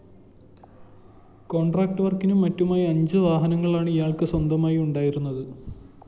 contract വര്‍ക്കിനും മറ്റുമായി അഞ്ച്‌ വാഹനങ്ങളാണ്‌ ഇയാള്‍ക്ക്‌ സ്വന്തമായുണ്ടായിരുന്നത്‌